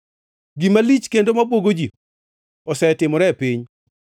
“Gima lich kendo mabwogo ji osetimore e piny: